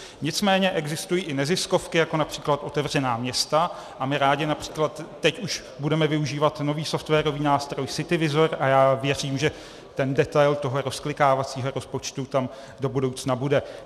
Nicméně existují i neziskovky jako například Otevřená města, a my rádi například teď už budeme využívat nový softwarový nástroj CityVizor a já věřím, že ten detail toho rozklikávacího rozpočtu tam do budoucna bude.